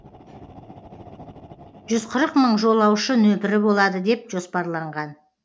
жүз қырық мың жолаушы нөпірі болады деп жоспарланған